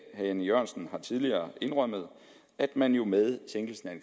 jan e jørgensen har tidligere indrømmet at man jo med sænkelsen af